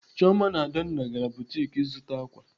Chioma na Adanna gara butik ịzụta ákwà.